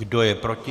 Kdo je proti?